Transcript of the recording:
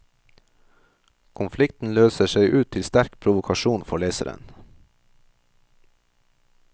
Konflikten løser seg ut til sterk provokasjon for leseren.